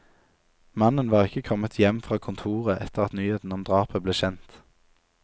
Mannen var ikke kommet hjem fra kontoret etter at nyheten om drapet ble kjent.